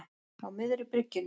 Á miðri bryggjunni.